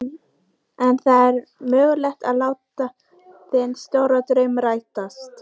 Mesta lagi í fjarska uppi í ræðustól.